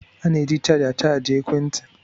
A na-eji chaja chajịa ekwentị.